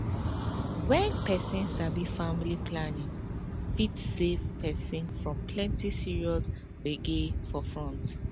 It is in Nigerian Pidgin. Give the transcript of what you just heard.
wen peson sabi family planning fit save peson from plenty serious gbege for future